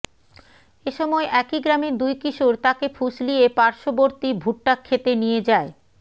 এ সময় একই গ্রামের দুই কিশোর তাকে ফুঁসলিয়ে পার্শ্ববর্তী ভুট্টাক্ষেতে নিয়ে যায়